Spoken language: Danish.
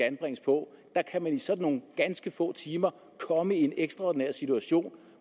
anbringes på der kan man i sådan nogle ganske få timer komme i en ekstraordinær situation